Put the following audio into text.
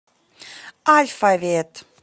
альфавет